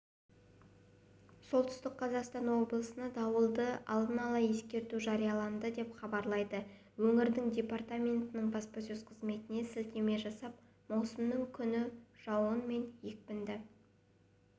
солтүстік қазақстан облысына дауылды алдын ала ескерту жарияланды деп хабарлайды өңірдің департаментінің баспасөз қызметіне сілтеме жасап маусымның күні жауын мен екпінді